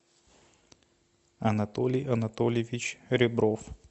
анатолий анатольевич ребров